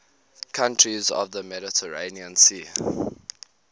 countries of the mediterranean sea